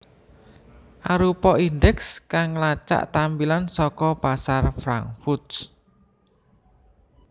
arupa indeks kang ngelacak tampilan saka pasar Frankfurt